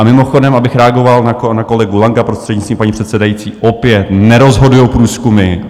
A mimochodem, abych reagoval na kolegu Langa, prostřednictvím paní předsedající, opět nerozhodují průzkumy.